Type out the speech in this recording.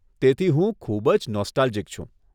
તેથી હું ખૂબ જ નોસ્ટાલ્જિક છું.